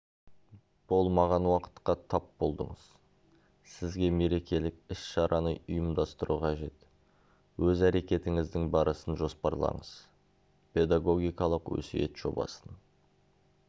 болмаған уақытқа тап болдыңыз сізге мерекелік іс-шараны ұйымдастыру қажет өз әрекетіңіздің барысын жоспарлаңыз педагогикалық өсиет жобасын